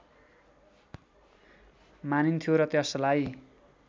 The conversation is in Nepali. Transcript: मानिन्थ्यो र त्यसलाई